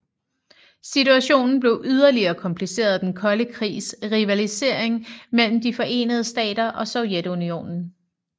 Situationen blev yderligere kompliceret af Den kolde krigs rivalisering mellem De forenede Stater og Sovjetunionen